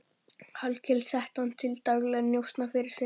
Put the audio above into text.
Hallkel setti hann til daglegra njósna fyrir sig.